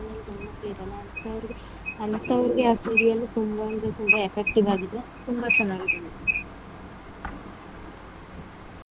ಅಂಥವ್ರ್ಗೆ ಅಂಥವ್ರ್ಗೆ ಆ serial ತುಂಬಾನೇ ಅಂದ್ರೆ ತುಂಬಾ effective ಆಗಿದೆ ತುಂಬಾ ಚೆನ್ನಾಗಿದೆ madam .